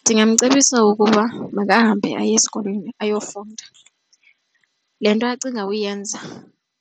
Ndingamcebisa ukuba makahambe aye esikolweni ayofunda. Le nto acinga uyenza